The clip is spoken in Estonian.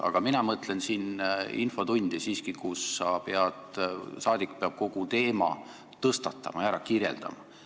Aga mina mõtlesin siiski infotundi, kus saadik peab kogu teema tõstatama ja ära kirjeldama.